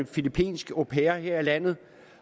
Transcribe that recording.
filippinsk au pair her i landet